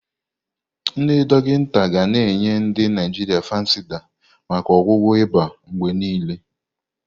Ndị dọkịta ga-enye ndi Naijiria Fansidar maka ọgwụgwọ ịba mgbe niile.